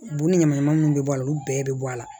Bu ni ɲamanɲaman munnu bɛ bɔ a la olu bɛɛ bɛ bɔ a la